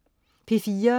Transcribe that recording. P4: